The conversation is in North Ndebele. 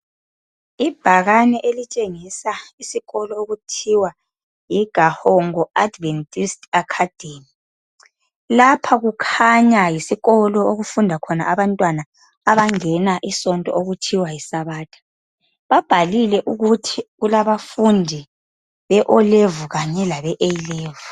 ibhakane elitshengisa isikolo okuthiwa yi Gahogo adventist Academy lapha kukhanya yisikolo okufunda khona abantwana abangena isonto okuthiwa yi Sabatha babhalile ukuthu kulabafundi be O Level kanye labe A level